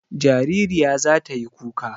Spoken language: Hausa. Jaririya za ta yi kuka.